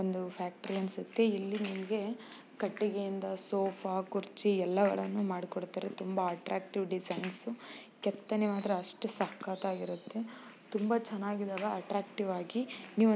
ಒಂದು ಫ್ಯಾಕ್ಟರಿ ಅನ್ಸುತ್ತೆ ಇಲ್ಲಿ ನಿಮಗೆ ಕಟ್ಟಿಗೆಯಿಂದ ಸೋಫಾ ಕುರ್ಚಿ ಎಲ್ಲಗಳನ್ನು ಮಾಡಿಕೊಡುತ್ತಾರೆ ತುಂಬಾ ಅಟ್ರಾಕ್ಟ್ ಡಿಸೈನ್ಸ್ ಕೆತ್ತನೆ ಮಾತ್ರ ಅಷ್ಟು ಸಖತ್ತಾಗಿರುತ್ತೆ ತುಂಬಾ ಚೆನ್ನಾಗಿದಾವೆ ಅಟ್ಟ್ರಾಕ್ಟಿವ್ ಆಗಿ ನೀವು --